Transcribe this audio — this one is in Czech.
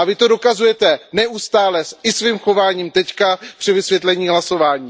A Vy to dokazujete neustále i svým chováním teď při vysvětlení hlasování.